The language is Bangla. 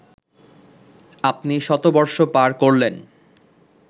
আপনি শতবর্ষ পার করলেন